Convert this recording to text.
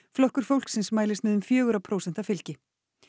flokkur fólksins mælist með um fjögurra prósenta fylgi